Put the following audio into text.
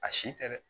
A si tɛ dɛ